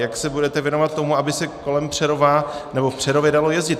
Jak se budete věnovat tomu, aby se kolem Přerova nebo v Přerově dalo jezdit?